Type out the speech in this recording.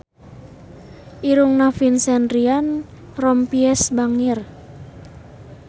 Irungna Vincent Ryan Rompies bangir